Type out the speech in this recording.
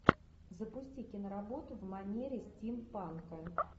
запусти киноработу в манере стимпанка